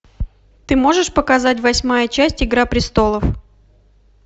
ты можешь показать восьмая часть игра престолов